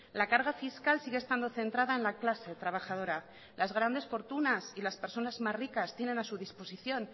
la carga fiscal sigue estando centrada en la clase trabajadora las grandes fortunas y las personas más ricas tienen a su disposición